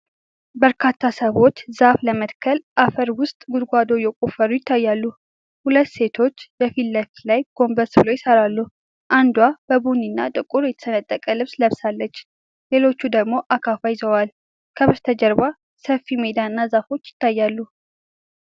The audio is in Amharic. በርካታ ሰዎች ዛፍ ለመትከል አፈር ውስጥ ጉድጓዶች እየቆፈሩ ይታያሉ። ሁለት ሴቶች የፊት ለፊት ላይ ጎንበስ ብለው ይሰራሉ፤ አንዷ በቡኒና ጥቁር የተሰነጠቀ ልብስ ለብሳለች፣ ሌሎቹ ደግሞ አካፋ ይዘዋል። ከበስተጀርባ ሰፊ ሜዳና ዛፎች ይታያሉ።